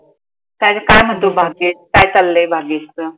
काय ग काय मनतो? भाग्येश काय चाललंय भाग्येशच?